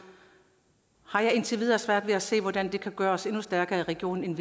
har jeg indtil videre svært ved at se hvordan det kan gøre os endnu stærkere i regionen end